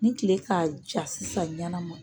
Ni tile k'a jaa sisan ɲɛnama